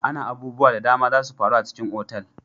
Ana abubuwa da dama zasu faru a cikin otal.